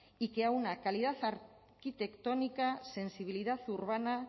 y una calidad arquitectónica sensibilidad urbana